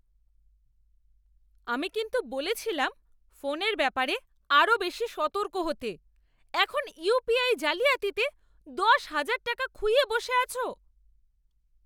আমি কিন্তু বলেছিলাম ফোনের ব্যাপারে আরও বেশি সতর্ক হতে। এখন ইউপিআই জালিয়াতিতে দশহাজার টাকা খুইয়ে বসে আছো!